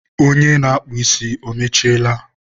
onye na-akpụ ísí, o mechiela?